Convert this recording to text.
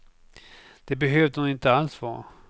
Det behövde hon inte alls vara.